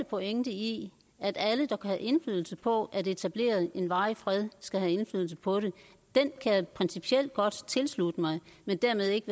pointen i at alle der kan have indflydelse på at etablere en varig fred skal have indflydelse på det kan jeg principielt godt tilslutte mig men dermed ikke